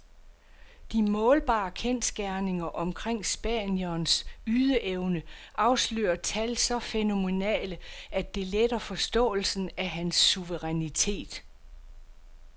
De målbare kendsgerninger omkring spanierens ydeevne afslører tal så fænomenale, at det letter forståelsen af hans suverænitet.